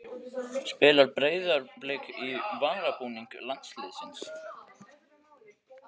Spilar Breiðablik í varabúning landsliðsins?